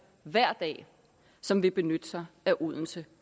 hver dag som vil benytte sig af odense